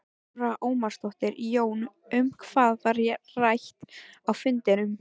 Lára Ómarsdóttir: Jón, um hvað var rætt á fundinum?